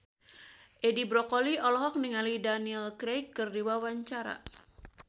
Edi Brokoli olohok ningali Daniel Craig keur diwawancara